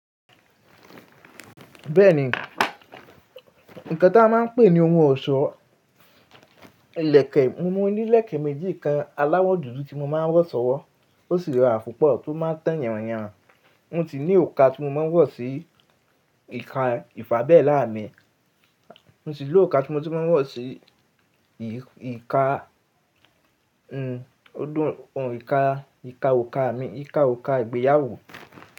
Bẹ́ẹ̀ni, nǹkan tí a máa ń pè ní ohun ọ̀ṣọ́, ìlẹ̀kẹ̀, mo ní ìlẹ̀kẹ̀ méjì kan aláwọ̀ dúdú tí mo máa ń wọ̀ sọ́wọ́ ó sì rọrùn púpọ̀ tó máa tan yànranyànran. Mo ti ní òrùka tí mo máa ń wọ̀ sí ìka ìfàbẹ́lá mi, mo si ní òrùka tí mo ti máa ń wọ̀ sí ìka, n, odún, òun, ìka, ìka òrùka mi, ìka òrùka ìgbéyàwó.